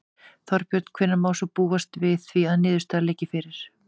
Þorbjörn: Hvenær má svo búast við því að niðurstaða liggi fyrir?